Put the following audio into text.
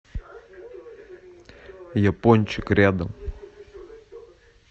япончик рядом